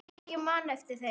Já, ég man eftir þeim.